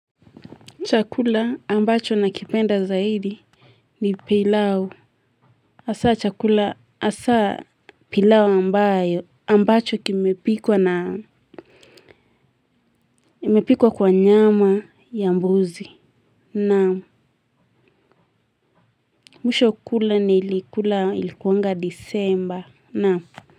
Chakula ambacho nakipenda zaidi ni pilau. Asa chakula asa pilau ambayo ambacho kimepikwa na imepikwa kwa nyama ya mbuzi. Naam mwisho kula ni ilikuanga disemba.